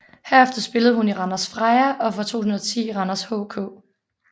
Derefter spillede hun i Randers Freja og fra 2010 i Randers HK